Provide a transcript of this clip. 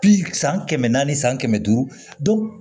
Bi san kɛmɛ naani san kɛmɛ duuru